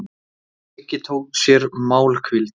Siggi tók sér málhvíld.